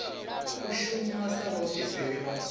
u shuma sa vhaofisiri vha